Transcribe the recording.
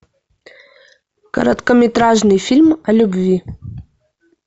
короткометражный фильм о любви